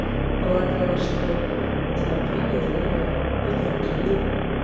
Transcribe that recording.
полагала что у тебя правая и левая петр и кирилл